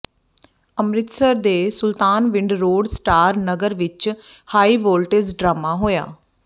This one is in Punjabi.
ਅੰਮ੍ਰਿਤਸਰ ਦੇ ਸੁਲਤਾਨਵਿੰਡ ਰੋਡ ਸਟਾਰ ਨਗਰ ਵਿਚ ਹਾਈਵੋਲਟੇਜ ਡਰਾਮਾ ਹੋਇਆ